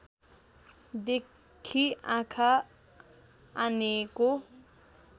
देखि आँखा आनेको